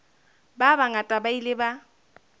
ba bangata ba ile ba